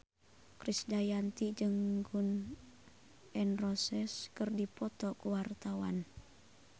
Krisdayanti jeung Gun N Roses keur dipoto ku wartawan